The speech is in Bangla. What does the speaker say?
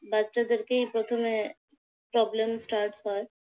বাচ্চাদেরকেই প্রথমে problem start হয়।